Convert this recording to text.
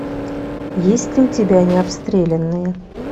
есть ли у тебя необстрелянные